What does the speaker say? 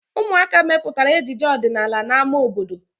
Ụmụaka mepụtara ejije ọdịnala na ámá obodo.